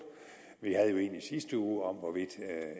vi havde jo en i sidste uge om hvorvidt